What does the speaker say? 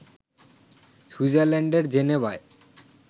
সুইজারল্যান্ডের জেনেভায়